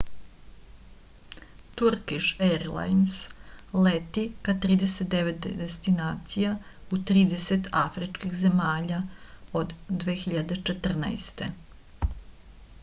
turkiš erlajns leti ka 39 destinacija u 30 afričkih zemalja od 2014